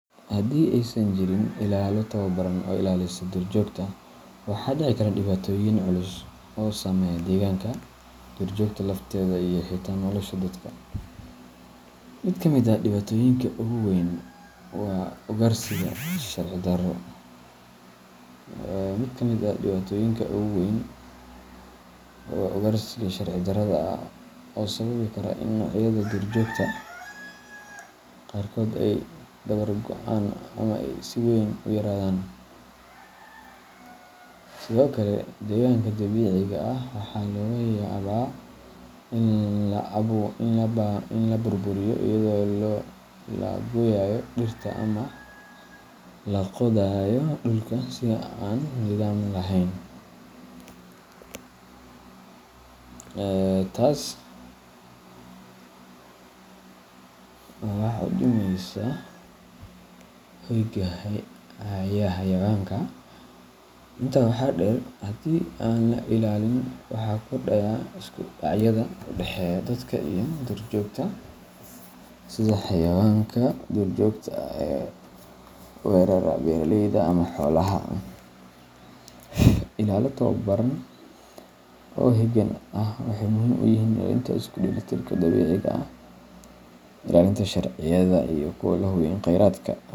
Haddii aysan jirin ilaalo tababaran oo ilaalisa duurjoogta, waxaa dhici kara dhibaatooyin culus oo saameeya deegaanka, duurjoogta lafteeda, iyo xitaa nolosha dadka. Mid ka mid ah dhibaatooyinka ugu weyn waa ugaarsiga sharci darrada ah, oo sababi kara in noocyada duurjoogta qaarkood ay dabar go’aan ama ay si weyn u yaraadaan. Sidoo kale, deegaanka dabiiciga ah waxaa laga yaabaa in la burburiyo iyadoo la gooyayo dhirta ama la qodayo dhulka si aan nidaam lahayn, taas oo wax u dhimaysa hoyga xayawaanka. Intaa waxaa dheer, haddii aan la ilaalin, waxaa kordhaya isku dhacyada u dhexeeya dadka iyo duurjoogta, sida xayawaanka duurjoogta ah oo weerara beeraleyda ama xoolaha. Ilaalo tababaran oo heegan ah waxay muhiim u yihiin ilaalinta isku dheelitirka dabiiciga ah, ilaalinta sharciyada deegaanka, iyo in la hubiyo in kheyraadka.